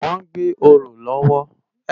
Wòn gbé óró lòwò